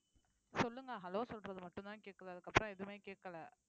சொல்லுங்க hello சொல்றது மட்டும்தான் கேட்குது அதுக்கப்புறம் எதுவுமே கேட்கலை